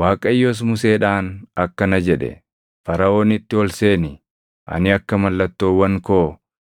Waaqayyos Museedhaan akkana jedhe; “Faraʼoonitti ol seeni; ani akka mallattoowwan koo